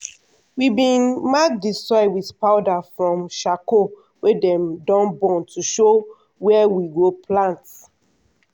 we bin mark di soil with powder from sharcoal wey dem don burn to show wia we go plant.